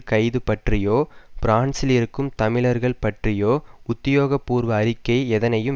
கைது பற்றியோ பிரான்சில் இருக்கும் தமிழர்கள் பற்றியோ உத்தியோகபூர்வ அறிக்கை எதனையும்